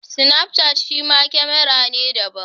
Snapchat shima kamara ne daban.